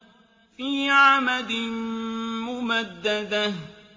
فِي عَمَدٍ مُّمَدَّدَةٍ